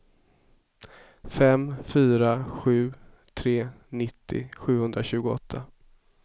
fem fyra sju tre nittio sjuhundratjugoåtta